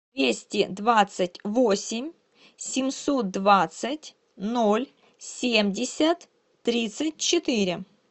двести двадцать восемь семьсот двадцать ноль семьдесят тридцать четыре